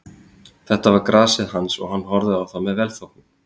Þetta var grasið hans og hann horfði á það með velþóknun.